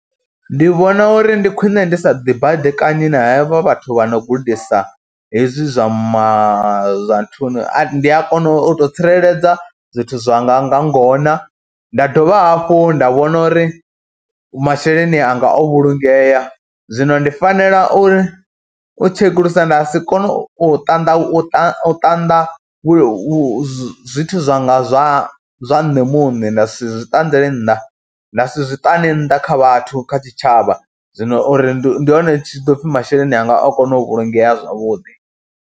Ndi vhona uri ndi khwine ndi sa ḓibaḓikanyi na hevha vhathu vha no gudisa hezwi zwa ma, zwa nthuni, ndi a kona u tou tsireledza zwithu zwanga nga ngona nda dovha hafhu nda vhona uri masheleni anga o vhulungea, zwino ndi fanela uri u tshekulusa nda si kone u ṱanḓa, u ṱanḓa, ṱanḓa zwithu zwanga zwa zwa nṋe muṋe nda si zwi ṱanḓele nnḓa, nda si zwi ṱane nnḓa kha vhathu kha tshitshavha, zwino uri ndi hone hu tshi ḓo pfhi masheleni a nga o kona u vhulungea zwavhuḓi.